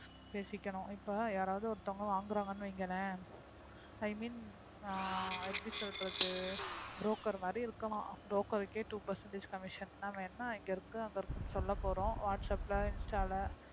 பேசிக்கணும் இப்ப யாராவது ஒருத்தவங்க வாங்குறாங்கன்னு வையுங்களேன் i mean ஆஹ் எப்படி சொல்றது broker மாறி இருக்கலாம் broker கே two percentage commission நாம என்ன இங்க இருக்கு அங்க இருக்கோம்னு சொல்ல போறோம் வாட்ஸாப்ப்ல இன்ஸ்டால